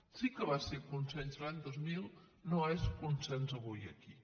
sí que va ser amb consens l’any dos mil no és consens avui aquí